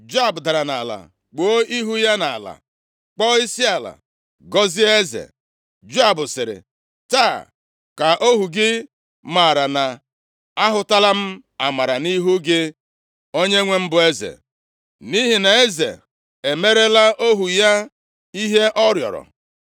Joab dara nʼala kpuo ihu ya nʼala, kpọọ isiala, gọzie eze. Joab sịrị, “Taa ka ohu gị maara na ahụtala m amara nʼihu gị, onyenwe m bụ eze, nʼihi na eze e merela ohu ya ihe ọ rịọrọ.”